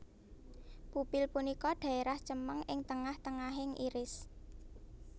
Pupil punika daerah cemeng ing tengah tengahing iris